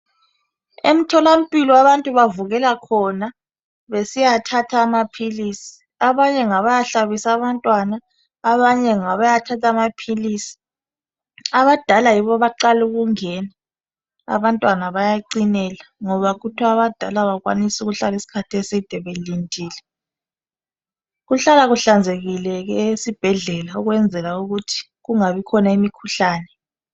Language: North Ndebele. Emtholampilo abantu bavukela khona besiyathatha amaphilisi abanye ngabayahlabisa abantwana abanye ngabayathatha amaphilisi abadala yibo abaqala ukungena abantwana bayacinela ngoba kuthiwa abadala abakwanisi ukuhlala isikhathi eside belindile kuhlala kuhlanzekile esibhedlela ukwenza ukuthi kungabi khona imikhuhlane.